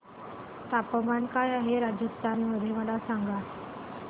तापमान काय आहे राजस्थान मध्ये मला सांगा